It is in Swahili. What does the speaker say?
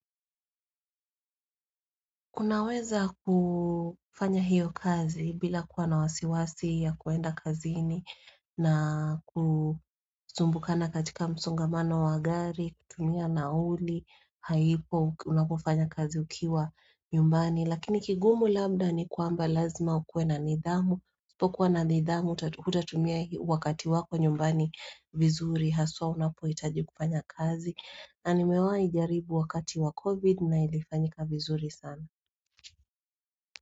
Kunaweza kufanya hiyo kazi bila kuwa na wasiwasi ya kuenda kazini na kusumbukana katika msongamano wa gari, kutumia nauli, haipo unapofanya kazi ukiwa nyumbani. Lakini kigumu labda ni kwamba lazima ukue na nithamu, usipokuwa na nidhamu hutatumia wakati wako nyumbani vizuri, haswa unapo hitaji kufanya kazi. Na nimewahi jaribu wakati wa COVID na ilifanyika vizuri sana.